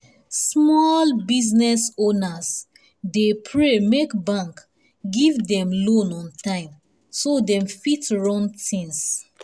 small business owners dey pray make bank give them loan on time so dem fit run things.